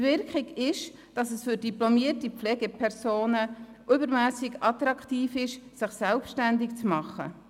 Die Wirkung ist, dass es für diplomierte Pflegepersonen übermässig attraktiv ist, sich selbstständig zu machen.